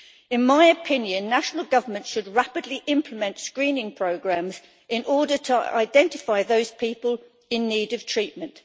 In my opinion, national governments should rapidly implement screening programmes in order to identify those people in need of treatment.